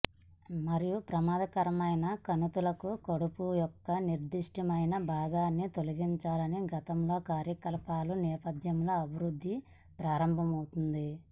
మరియు ప్రమాదకరమైన కణితులకు కడుపు యొక్క నిర్దిష్టమైన భాగాన్ని తొలగించాలని గతంలో కార్యకలాపాల నేపథ్యంలో అభివృద్ధి ప్రారంభమవుతుంది